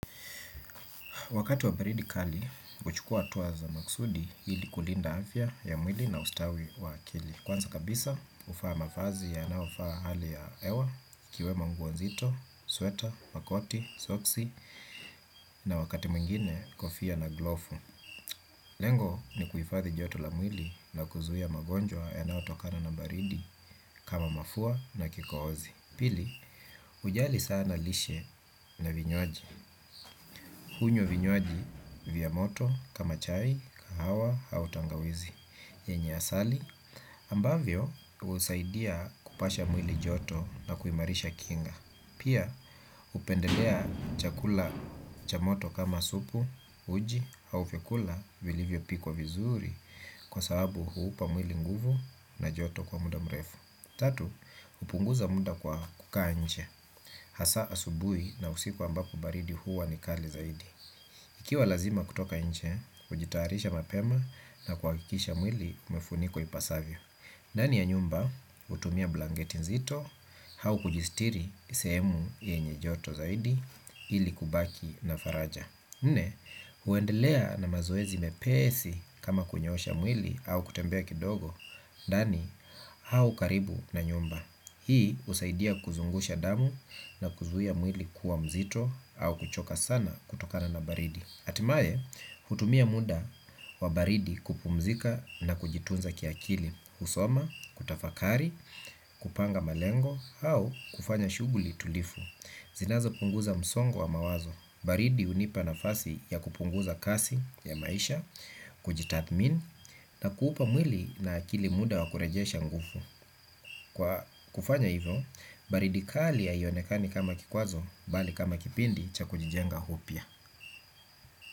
Wakati wa baridi kali, huchukua hatua za maksudi ili kulinda afya ya mwili na ustawi wa akili. Kwanza kabisa, huvaa mavazi yanayofaa hali ya hewa, ikiwemo nguo nzito, sweta, makoti, soksi, na wakati mwingine kofia na glofu. Lengo ni kuifadhi joto la mwili na kuzuia magonjwa yanayotokana na baridi kama mafua na kikohozi. Pili, ujali sana lishe na vinyoaji. Hunywa vinywaji vya moto, kama chai, kahawa, au tangawizi. Yenye asali, ambavyo husaidia kupasha mwili joto na kuimarisha kinga. Pia, hupendelea chakula cha moto kama supu, uji, au vyakula vilivyopikwa vizuri kwa sababu huupa mwili nguvu na joto kwa muda mrefu. Tatu, hupunguza muda kwa kukaa nje, hasa asubuhi na usiku ambapo baridi huwa ni kali zaidi. Ikiwa lazima kutoka nje, hujitayarisha mapema na kuhakikisha mwili umefunikwa ipasavyo ndani ya nyumba, hutumia blanketi nzito, au kujistiri sehemu yenye joto zaidi, ili kubaki na faraja. Nne, uendelea na mazoezi mepesi kama kunyoosha mwili au kutembea kidogo, ndani au karibu na nyumba. Hii husaidia kuzungusha damu na kuzuia mwili kuwa mzito au kuchoka sana kutokana na baridi. Hatimaye, hutumia muda wa baridi kupumzika na kujitunza kiakili, kusoma, kutafakari, kupanga malengo, au kufanya shughuli tulivu. Zinazopunguza msongo wa mawazo, baridi hunipa nafasi ya kupunguza kasi ya maisha, kujitathmini, na kuupa mwili na akili muda wa kurejesha nguvu. Kwa kufanya hivyo, baridi kali ya haionekani kama kikwazo, bali kama kipindi cha kujijenga upya.